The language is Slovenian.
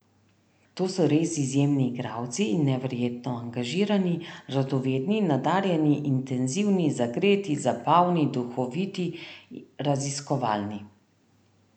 To so res izjemni igralci in neverjetno angažirani, radovedni, nadarjeni, intenzivni, zagreti, zabavni, duhoviti, raziskovalni ...